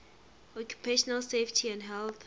occupational safety and health